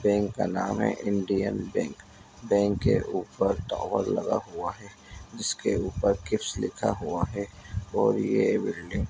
bank का नाम है इंडियन बैंक बैंक के ऊपर टावर लगा हुआ है जिसके ऊपर किप्स लिखा हुआ है और ये बिल्डिंग --